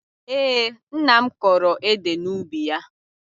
Ee, nna m kọrọ ede n'ubi ya